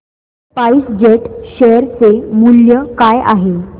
spice jet share चे मूल्य काय असेल